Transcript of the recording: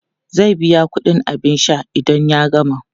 Zai biya kudin abin sha idan ya gama.